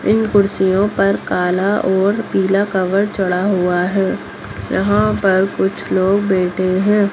इन कुर्सियों पर काला और पीला कवर चढ़ा हुआ है यहाँ पर कुछ लोग बैठे है।